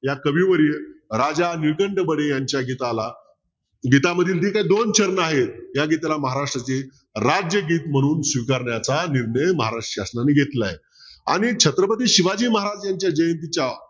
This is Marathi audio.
या कवी वडील राजा नीलकंठ बडे यांच्या गीताला गीतेमधील जी काही दोन चरण आहेत या गीताला महाराष्ट्राचे राज्यगीत म्हणून स्वीकारण्याचा निर्णय महाराष्ट्र शासनाने घेतलाय आणि छत्रपती शिवाजी महाराजच्या जयंतीच्या